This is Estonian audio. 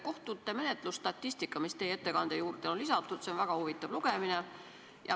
Kohtute menetlusstatistika, mis teie ettekande juurde on lisatud, on väga huvitav lugemine.